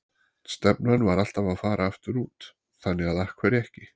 Stefnan var alltaf að fara aftur út, þannig að af hverju ekki?